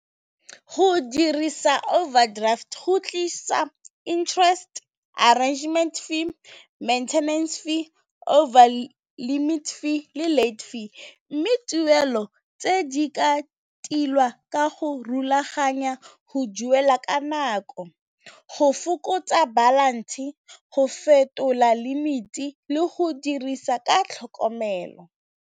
Go dirisa overdraft go tlisa interest arrangement fee, maintenance fee overlimit fee, le late fee mme tuelo tse di ka tilwa ka go rulaganya go duela ka nako go fokotsa balance, go fetola limit-i le go dirisa ka tlhokomelo.